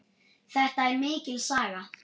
Þetta er mikil saga!